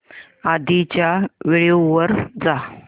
आधीच्या व्हिडिओ वर जा